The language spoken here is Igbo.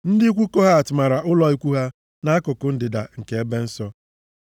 Ndị ikwu Kohat mara ụlọ ikwu ha nʼakụkụ ndịda nke ebe nsọ.